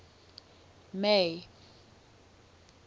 may